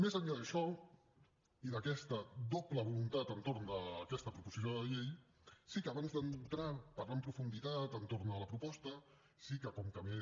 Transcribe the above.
més enllà d’això i d’aquesta doble voluntat entorn d’aquesta proposició de llei sí que abans d’entrar a parlar en profunditat de la proposta sí que com que m’he